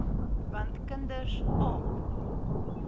want kinders aap